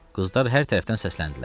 Qızlar hər tərəfdən səsləndilər.